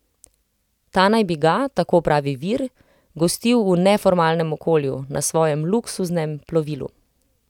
Ta naj bi ga, tako pravi vir, gostil v neformalnem okolju, na svojem luksuznem plovilu.